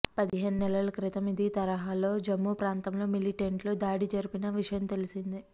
పదిహేను నెలల క్రితం ఇదే తరహాలో జమ్ము ప్రాంతంలో మిలిటెంట్లు దాడి జరిపిన విషయం తెలిసిందే